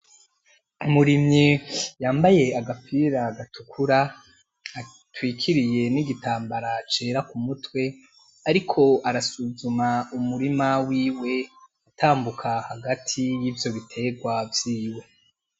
Umurimyi yambaye agapira gatukura ,atwikiriye n' igitambara cera k'umutwe, ariko arasuzuma umurima wiwe ,atambuka hagati yivyo biterwa vyiwe.